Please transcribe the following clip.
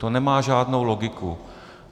To nemá žádnou logiku.